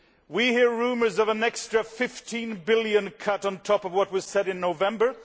We hear rumours of an extra EUR 15 billion cut on top of what was announced in November.